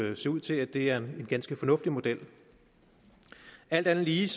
jo se ud til at det er en ganske fornuftig model alt andet lige